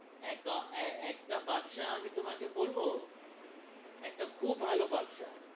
একটা ব্যবসা আমি তোমাকে বলবো, একটা খুব ভালো ব্যবসা।